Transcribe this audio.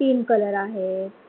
तीन color आहेत.